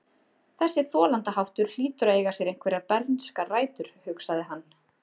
Þessi þolandaháttur hlýtur að eiga sér einhverjar bernskar rætur, hugsaði hann.